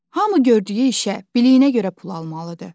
Hamı gördüyü işə, biliyinə görə pul almalıdır.